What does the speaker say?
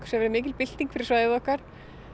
sem er mikil bylting fyrir svæðið okkar